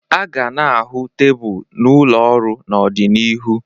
A ga na-ahụ tebụl n'ụlọ ọrụ n'ọdịnihu